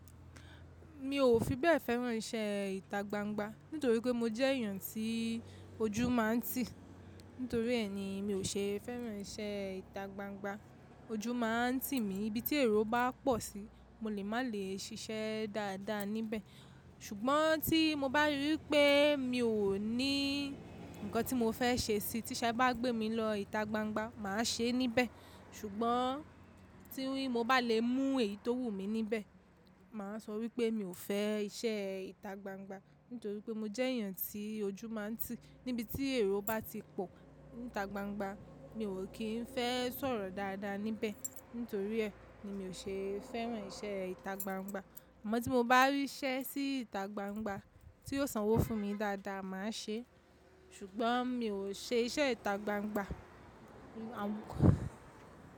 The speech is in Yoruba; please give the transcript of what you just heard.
Mi ò fi bẹ́ẹ̀ fẹ́ràn iṣẹ́ ìta gbangba nítorí pé mo jẹ́ èèyàn tí ojú máa ń tì. Nítorí ẹ̀ ni mi ò ṣe fẹ́ràn iṣẹ́ ìta gbangba. Ojú máa ń tì mí íbi tí èrò bá pọ̀ sí, mo lè má lè ṣiṣẹ́ dáadáa níbẹ̀. Ṣùgbọ́n tí mo bá rí wipé mi ò ní ǹkan tí mo fẹ́ ṣe sí, tí Ṣẹ bá gbé mi lọ ìta gbangba, màá ṣe é níbẹ̀. Ṣùgbọ́n tí mo bá le mú èyí tó wù mí níbẹ̀, màá sọ wípé mi ò fẹ́ iṣẹ́ ìta gbangba nítorí pé mo jẹ́ èèyàn tí ojú máa ń tì. Níbi tí èrò bá ti pọ̀ níta gbangba, mi ò kín fẹ́ sọ̀rọ̀ dáadáa níbẹ̀. Nítorí ẹ̀ ni mi ò ṣe fẹ́ràn iṣẹ́ ìta gbangba. Ṣùgbọ́n tí mo bá rí iṣẹ́ sí ìta gbangba tí yóò sanwó fún mi dáadáa, màá ṣe é. Ṣùgbọ́n mi ò ṣe iṣẹ́ ìta gbangba. Àwúkọ́.